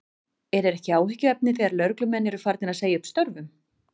En er ekki áhyggjuefni þegar lögreglumenn eru farnir að segja upp störfum?